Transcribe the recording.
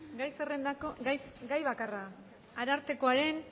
gai bakarra arartekoaren